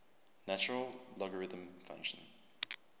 natural logarithm function